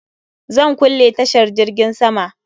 Zan kulle tashar jirgin sama?